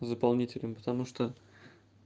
заполнителем потому что